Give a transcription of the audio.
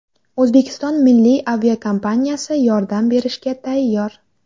O‘zbekiston milliy aviakompaniyasi yordam berishga tayyor.